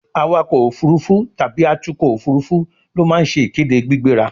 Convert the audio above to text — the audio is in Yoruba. awakọ̀ òfurufú tàbí atukọ̀ òfurufú ló ma ń se ìkéde gbígbéra